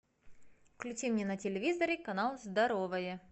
включи мне на телевизоре канал здоровое